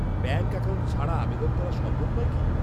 Bank account ছাড়া আবেদন করা সম্ভব নয় কি?